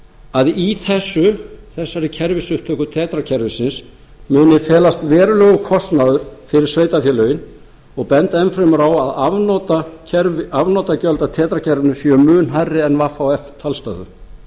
að í þessari kerfisupptöku tetra kerfisins muni felast verulegur kostnaður fyrir sveitarfélögin og benda enn fremur á að afnotagjöld af tetra kerfinu séu mun hærri en af vhf talstöðvum þeir